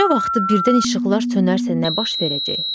Gecə vaxtı birdən işıqlar sönərsə nə baş verəcək?